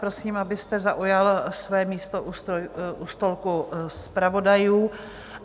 Prosím, abyste zaujal své místo u stolku zpravodajů.